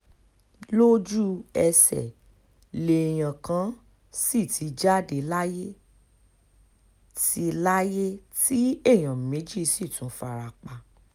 lójú-ẹsẹ̀ lèèyàn kàn sì ti jáde láyé tí láyé tí èèyàn méjì sì tún fara pa